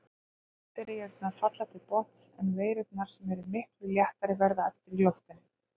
Bakteríurnar falla til botns en veirurnar, sem eru miklu léttari, verða eftir í flotinu.